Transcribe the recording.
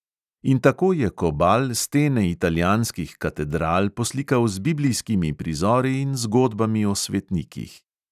In tako je kobal stene italijanskih katedral poslikal z biblijskimi prizori in zgodbami o svetnikih.